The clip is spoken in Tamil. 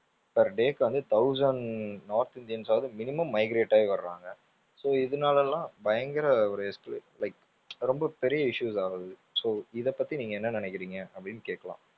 per day க்கு வந்து thousand north இந்தியன்ஸ் ஆவது minimum migrate ஆகி வர்றாங்க so இதுனால எல்லாம் பயங்கர ஒரு like ரொம்ப பெரிய issues ஆகுது so இதை பத்தி நீங்க என்ன நினைக்கிறீங்க? அப்படின்னு கேக்கலாம்.